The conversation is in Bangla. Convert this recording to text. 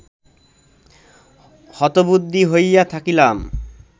হতবুদ্ধি হইয়া থাকিলাম